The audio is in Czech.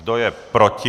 Kdo je proti?